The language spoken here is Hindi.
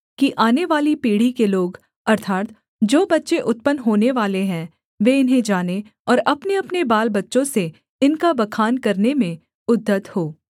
कि आनेवाली पीढ़ी के लोग अर्थात् जो बच्चे उत्पन्न होनेवाले हैं वे इन्हें जानें और अपनेअपने बालबच्चों से इनका बखान करने में उद्यत हों